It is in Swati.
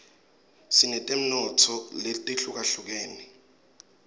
sinetemnotfo letihlukahlukene